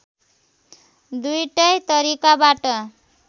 दुईटै तरिकाबाट